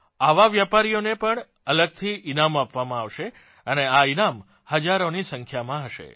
આવાં વેપારીઓને પણ અલગથી ઇનામ આપવામાં આવશે અને આ ઇનામ હજારોની સંખ્યામાં હશે